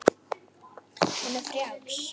Hún er frjáls.